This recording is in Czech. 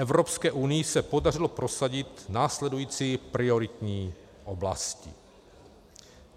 Evropské unii se podařilo prosadit následující prioritní oblasti.